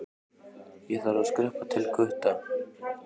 Ég þarf að skreppa til Gutta.